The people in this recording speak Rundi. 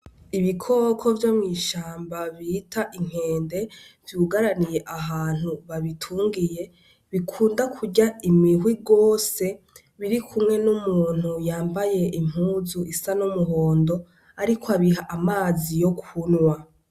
Ibikoko vyo mw'ishamba bita inkende, vyugaraniye ahantu babitungiye, bikunda kurya imihwi gose, biri kumwe n'umuntu yambaye impuzu isa n'umuhondo ariko abiha amazi yo kunywa.